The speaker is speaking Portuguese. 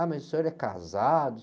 Ah, mas o senhor é casado?